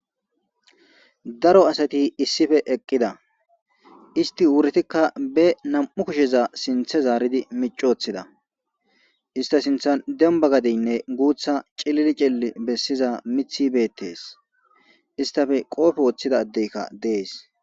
Daro asati issife eqqida isti wuretikka be nam7u kusheza sinthe zaaridi micoththida ista sintha demba gadeynne guutha cilili cilli bessiza mithibeettees istafe qoofe woththida ddeykka dees.